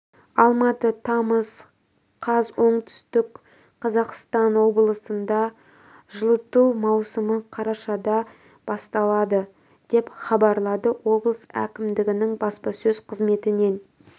алматы тамыз қаз оңтүстік қазақстан облысында жылыту маусымы қарашада басталады деп хабарлады облыс әкімдігінің баспасөз қызметінен